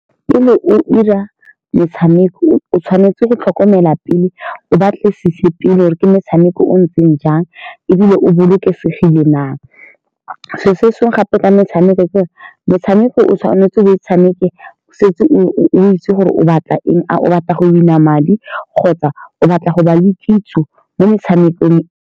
Pele o 'ira metshameko, o tshwanetse go tlhokomela pele o batlisise pele gore ke motshameko o o ntseng jang, ebile a o bolokesegile na. Selo sengwe gape ka metshameko metshameko, o tshwanetse o e tshameke o setse o-o-o itse gore o batla eng. A o batla go win-a madi kgotsa o batla go ba le kitso mo metshamekong.